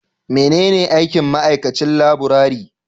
Menene aikin ma'aikacin laburare?